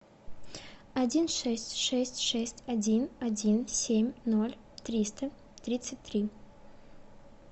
один шесть шесть шесть один один семь ноль триста тридцать три